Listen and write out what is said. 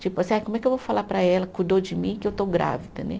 Tipo assim, ai como é que eu vou falar para ela, cuidou de mim, que eu estou grávida, né?